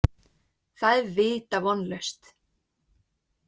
Það er vita vonlaust.